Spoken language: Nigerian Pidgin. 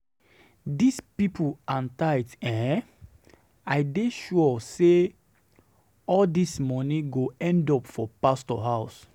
Dis people and tithe eh, I dey sure say um all dis money go end up for pastor house